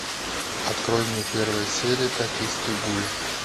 открой мне первая серия токийский гуль